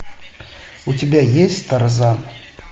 у тебя есть тарзан